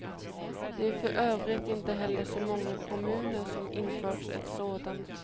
Det är för övrigt inte heller så många kommuner som infört ett sådant.